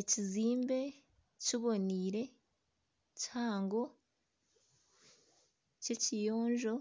Ekizimbe kibonaire kihango ky'ekiyonjo